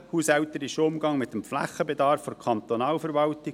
in den haushälterischen Umgang mit dem Flächenbedarf der Kantonalverwaltung.